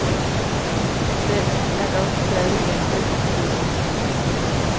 Der er nok en særlig mandlig opblæsthed.